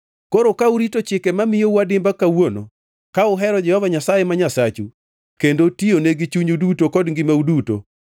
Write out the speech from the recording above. Koro ka urito chike mamiyou adimba kawuono, ka uhero Jehova Nyasaye ma Nyasachu kendo tiyone gi chunyu duto kod ngimau duto,